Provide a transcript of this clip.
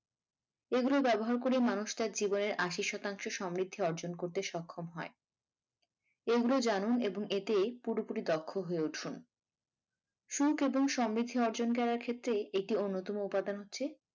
এগুলো ব্যবহার করে মানুষ তার জীবনের আশি শতাংশ সমৃদ্ধি অর্জন করতে সক্ষম হয় এইগুলো জানুন এবং এতে পুরোপুরি দক্ষ হয়ে উঠুন সুখ এবং সমৃদ্ধি অর্জন করার ক্ষেত্রে একটি অন্যতম উপাদান হচ্ছে।